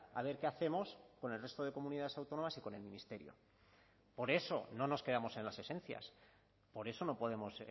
a ver qué hacemos con el resto de comunidades autónomas y con el ministerio por eso no nos quedamos en las esencias por eso no podemos